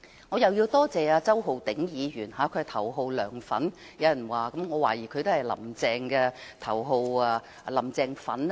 我也要多謝周浩鼎議員，有人說他是頭號"梁粉"，我懷疑他也是頭號"林鄭粉"。